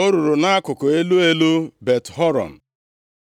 o ruru nʼakụkụ elu elu Bet-Horon;